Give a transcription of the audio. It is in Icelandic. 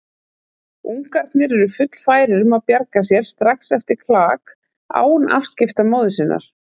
Ungarnir eru fullfærir um að bjarga sér strax eftir klak, án afskipta móður sinnar.